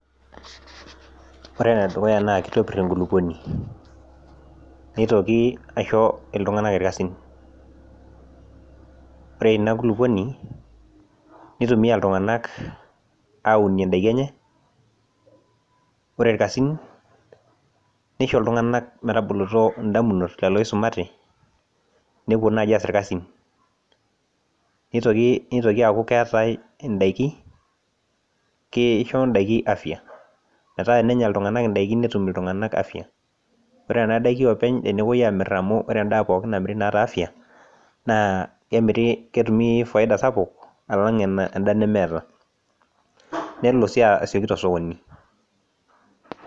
Ore ene dukuya naa kitopir enkulupuoni, nitoki aisho iltunganak irkasin. ore Ina kulupuoni, nitumia iltunganak aaunie daikin enye. ore irkasin, nisho iltunganak metaboloto damunot lelo oisumate, nepuo naaji aas irkasin. nitoki aaku keetae idaiki ,kisho daiki afya .metaa enenya iltunganak idaiki netum iltunganak afya .ore nena daikin oopeny tenepuoi amir, amu ore edaa pookin naata afya naa kemiri, ketumi faida sapuk alang' eda nemeeta. nelo sii asioki tosokoni.